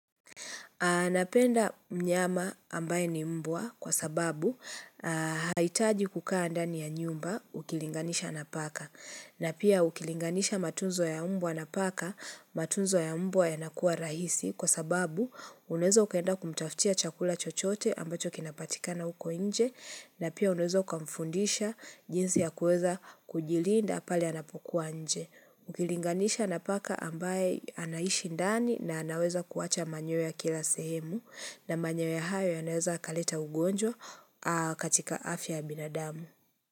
Aah napenda mnyama ambaye ni mbwa kwa sababu haitaji kukaa ndani ya nyumba ukilinganisha na paka na pia ukilinganisha matunzo ya mbwa na paka, matunzo ya mbwa yanakuwa rahisi kwa sababu unaeza ukaenda kumtaftia chakula chochote ambacho kinapatikana huko nje na pia unawezo ukamfundisha jinsi ya kuweza kujilinda pale anapokuwa nje. Ukilinganisha na paka ambaye anaishi ndani na anaweza kuwacha manyoya kila sehemu na manyoya hayo yanaweza yakaleta ugonjwa katika afya ya binadamu.